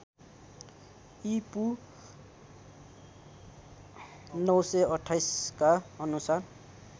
ईपू ९२८ का अनुसार